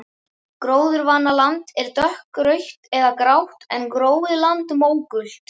Gróðurvana land er dökkrautt eða grátt en gróið land mógult.